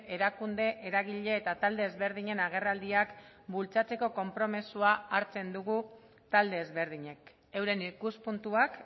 erakunde eragile eta talde ezberdinen agerraldiak bultzatzeko konpromisoa hartzen dugu talde ezberdinek euren ikuspuntuak